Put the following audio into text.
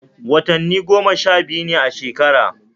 Watanni goma sha biyu ne a shekara